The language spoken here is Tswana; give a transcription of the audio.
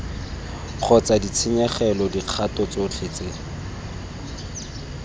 kgotsa ditshenyegelo dikgato tsotlhe tse